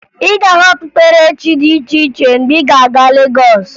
Ị ga-ahụ okpukperechi dị iche iche mgbe ị ga-aga Legọs